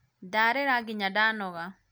ndarĩra nginya ndanoga